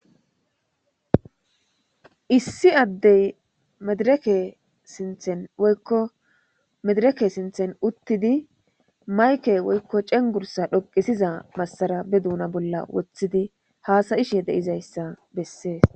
issi addey medireke sinthen oykko medereke sinthen uttidi mayke woykko cengursa dhoqisiza massara be duuna bolla woththidi haasayishe deizayssa bessees